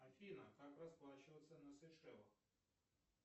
афина как расплачиваться на сейшелах